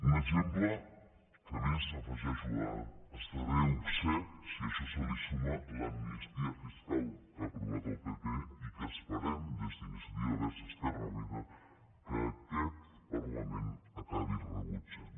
un exemple que a més afegeixo esdevé obscè si a això se li suma l’amnistia fiscal que ha aprovat el pp i que esperem des d’iniciativa verds esquerra unida que aquest parlament acabi rebutjant